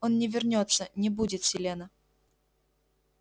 он не вернётся не будет селена